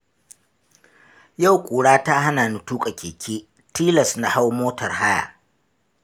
Yau ƙura ta hana ni tuƙa keke, tilas na hau motar haya.